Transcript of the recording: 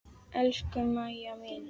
Elsku Maja mín.